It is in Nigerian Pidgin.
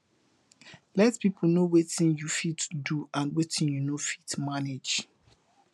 let pipo no wetin yu fit do and wetin yu no fit manage